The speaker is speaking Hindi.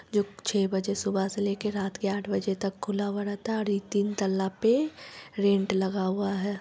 जो छे बजे सुबह से लेकर रात के आँठ बजे तक खुला हुआ रहता है और एक दिन तालाब पे रेंट लगा हुआ है।